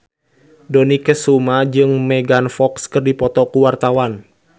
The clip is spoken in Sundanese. Dony Kesuma jeung Megan Fox keur dipoto ku wartawan